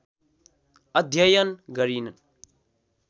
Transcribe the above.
अध्ययन गरिन्